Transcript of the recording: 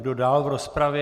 Kdo dál v rozpravě?